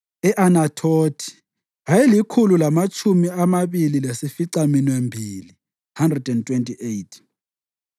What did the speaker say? e-Anathothi ayelikhulu lamatshumi amabili lasificaminwembili (128),